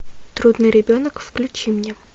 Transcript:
трудный ребенок включи мне